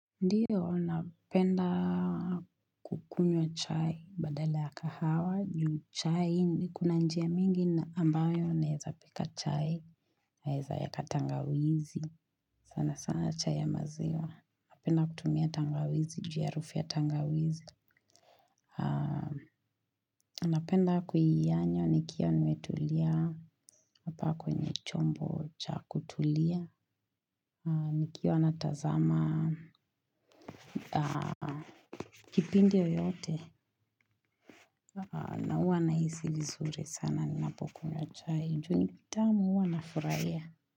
Ndiyo napenda kukunywa chai badala ya kahawa juu chai kuna njia mingi ambayo naeza pika chai naeza weka tangawizi sana sana chai ya maziwa napenda kutumia tangawizi juu ya harufu ya tangawizi napenda kuiyanywa nikiwa nimetulia hapa kwenye chombo cha kutulia nikiwa na tazama, kipindi yoyote na huwa nahisi vizuri sana Ninapokunywa chai, juu ni tamu huwa nafurahia.